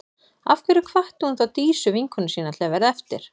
Af hverju hvatti hún þá Dísu, vinkonu sína, til að verða eftir?